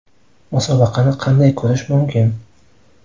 Musobaqani qanday ko‘rish mumkin?